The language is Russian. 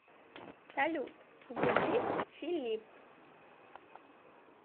салют язык филипп